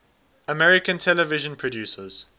american television producers